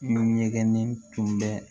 Ɲɛgɛnnen tun bɛ